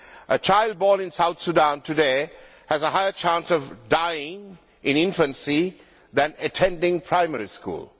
A child born in South Sudan today has a higher chance of dying in infancy than attending primary school.